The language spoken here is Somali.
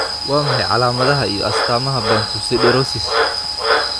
Waa maxay calaamadaha iyo calaamadaha Bantu siderosis?